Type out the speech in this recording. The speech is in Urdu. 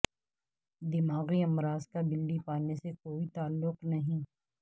دماغی امراض کا بلی پالنے سے کوئی تعلق نہیں